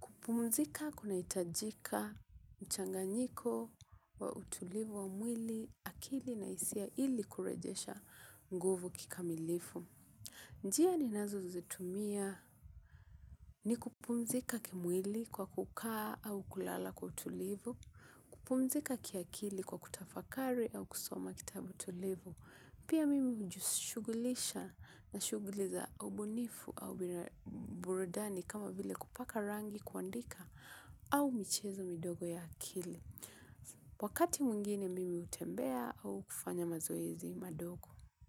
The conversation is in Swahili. kupumzika kunahitajika mchanganyiko wa utulivu wa mwili, akili na hisia ili kurejesha nguvu kikamilifu. Njia ninazozitumia ni kupumzika kimwili kwa kukaa au kulala kwa utulivu, kupumzika kiakili kwa kutafakari au kusoma kitabu tulivu. Pia mimi hujishughulisha na shughuli za ubunifu au burudani kama vile kupaka rangi, kuandika au michezo midogo ya akili. Wakati mwingine mimi hutembea au kufanya mazoezi madogo.